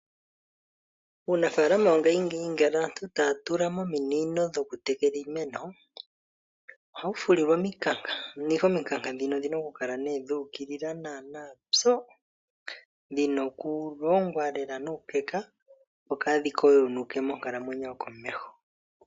Uunafalama wongashingeyi ngele aantu taya tulamo ominino dhokutekela iimeno ohadhi fulilwa omikanka dhono dhina okukala dhuukilila opo kaadhi goyoke monakuyiwa.